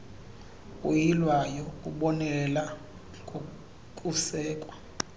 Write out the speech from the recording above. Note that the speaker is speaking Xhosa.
uyilwayo ubonelela ngokusekwa